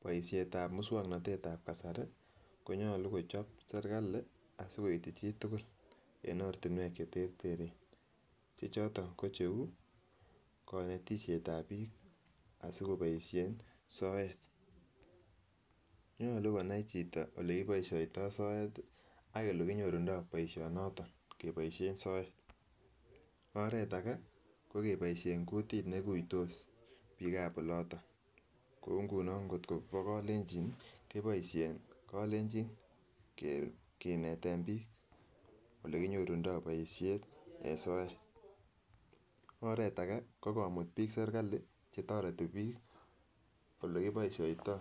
Boishet ab muswoknotet ab kasari konyolu kochob sirikali asikoityi chitukul en ortinwek cheterteren che choton ko cheu konetishet ab bik asikoboishen soet. Nyolu konai chito ole kiboishoito soet ak ole kinyorundo boishonoton keboishen soet, oret age ko keboishen kutit neiguitos bik ab oloton kou ngunon kotko bo kolenjin nii keboishek kolenji kineten bik ole kinyorundo boishet en soet. Oret age ko komut bik serikali chetoreti bik ole kiboishoito